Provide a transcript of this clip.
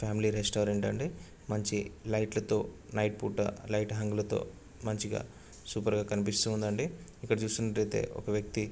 Family restaurant అండి. మంచి లైట్లతో నైట్ పూట లైట్ హంగులతో మంచిగా సూపర్ గా కనిపిస్తుందండి. ఇక్కడ చుకున్నటైతే ఒక వ్యక్తి --